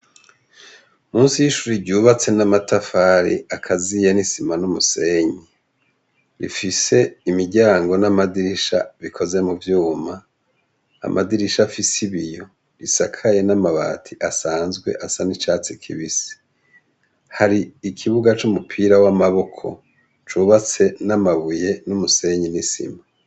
Munsi yishure ryubatse namatafari agaziye nisima numusenyi ifise imiryango namadirisha bikoze muvyuma amadirisha afise ibiyo bisakaye namabati asanzwe asa nicatsi kibisi hari ikibuga cumupira wamaboko cubatse namabuye numusenyi nisima